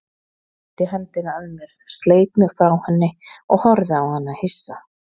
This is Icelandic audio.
Kippti hendinni að mér, sleit mig frá henni og horfði á hana hissa.